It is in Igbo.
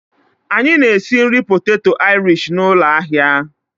Anyị na-esi nri poteto Irish na ụlọ ahịa.